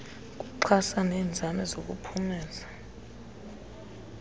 kuxhasa neenzame zokuphumeza